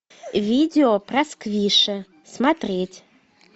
видео про сквиши смотреть